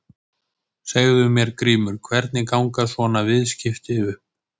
Segðu mér Grímur, hvernig ganga svona viðskipti upp?